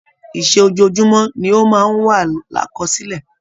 Ìṣe ojojumọ ni o máa n wa lakọ́silẹ̀.